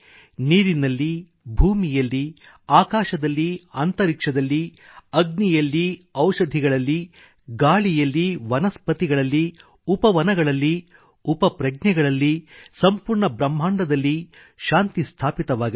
ನೀರಿನಲ್ಲಿಭೂಮಿಯಲ್ಲಿ ಆಕಾಶದಲ್ಲಿ ಅಂತರಿಕ್ಷದಲ್ಲಿ ಅಗ್ನಿಯಲ್ಲಿ ಔಷಧಿಗಳಲ್ಲಿ ಗಾಳಿಯಲ್ಲಿ ವನಸ್ಪತಿಗಳಲ್ಲಿ ಉಪವನಗಳಲ್ಲಿ ಉಪಪ್ರಜ್ಞೆಗಳಲ್ಲಿ ಸಂಪೂರ್ಣ ಬ್ರಹ್ಮಾಂಡದಲ್ಲಿ ಶಾಂತಿ ಸ್ಥಾಪಿತವಾಗಲಿ